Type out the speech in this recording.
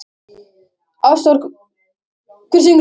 Ástvar, hver syngur þetta lag?